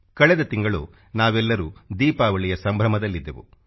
ಕಳೆದ ತಿಂಗಳು ನಾವೆಲ್ಲರೂ ದೀಪಾವಳಿಯ ಸಂಭ್ರ್ರಮದಲ್ಲಿದ್ದೆವು